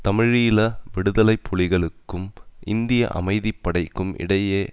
தமிழீழ விடுதலை புலிகளுக்கும் இந்திய அமைதி படைக்கும் இடையே